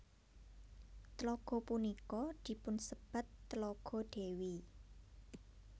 Tlaga punika dipunsebat Tlaga Dewi